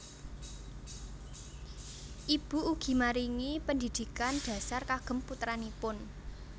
Ibu ugi maringi pendhidhikan dhasar kagem putranipun